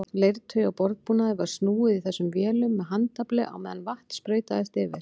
Leirtaui og borðbúnaði var snúið í þessum vélum með handafli á meðan vatn sprautaðist yfir.